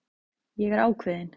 Ég er ákveðin.